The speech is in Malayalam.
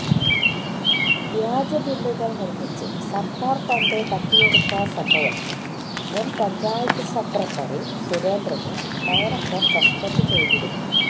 വ്യാജബില്ലുകൾ നിർമ്മിച്ച് സർക്കാർ ഫണ്ട് തട്ടിയെടുത്ത സംഭവത്തിൽ മുൻ പഞ്ചായത്ത് സെക്രട്ടറി സുരേന്ദ്രനെ ഡാറക്ടർ സസ്പെന്റ് ചെയ്തിരുന്നു